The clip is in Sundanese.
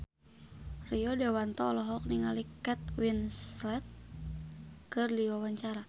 Rio Dewanto olohok ningali Kate Winslet keur diwawancara